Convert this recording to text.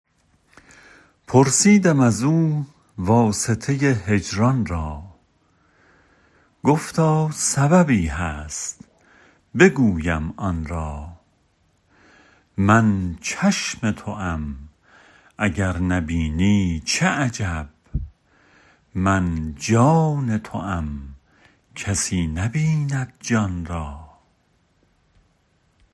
پرسیدم ازو واسطه هجران را گفتا سببی هست بگویم آن را من چشم توام اگر نبینی چه عجب من جان توام کسی نبیند جان را